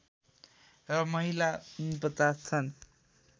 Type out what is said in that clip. र महिला ४९ छन्